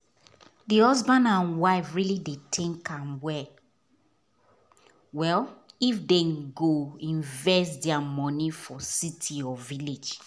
the couple dey keep the money wen them save to there selves so person nor go disturb there plans